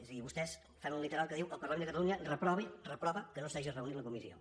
és a dir vostès fan un literal que diu el parlament de catalunya reprova que no s’hagi reunit la comissió